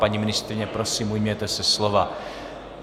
Paní ministryně, prosím, ujměte se slova.